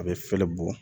A bɛ fɛlɛ bɔ